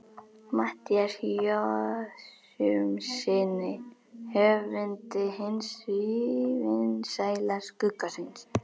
Matthíasi Jochumssyni höfundi hins sívinsæla Skugga-Sveins.